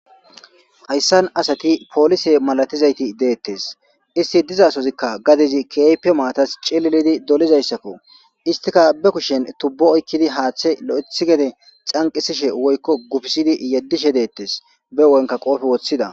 hayssan asati poolise malatizayti deettes isti dizasozikka gadizi keype maatas cililidi dolizayssakko istika be kushen tubbo oykkidi haaththe lo7ethi gede xanqisishe woykko gufisidi yeddishe deettes be wonka qoofi woththida